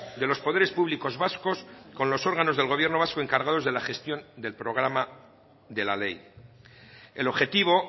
de los poderes públicos vascos con los órganos del gobierno vasco encargados de la gestión del programa de la ley el objetivo